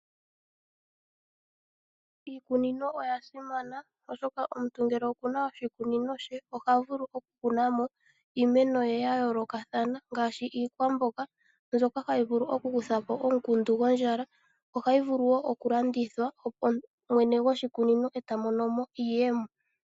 Iikunino oya simana, oshoka omuntu ngele oku na oshikunino she oha vulu okukuna mo iimeno ye ya yoolokathana ngaashi iikwamboga mbyoka hayi vulu okukutha po omukundu gondjala. Ohayi vulu wo okulandithwa mwene goshikunino e ta mono mo iiyemo.